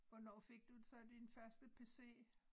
Hvornår fik du så din første pc